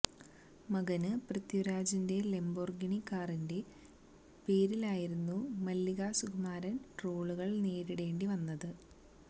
മകന് പൃഥ്വിരാജിന്റെ ലംബോര്ഗിനി കാറിന്റെ പേരിലായിരുന്നു മല്ലികാ സുകുമാരന് ട്രോളുകള് നേരിടേണ്ടി വന്നത്